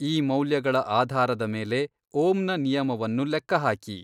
ಈ ಮೌಲ್ಯಗಳ ಆಧಾರದ ಮೇಲೆ ಓಮ್ನ ನಿಯಮವನ್ನು ಲೆಕ್ಕಹಾಕಿ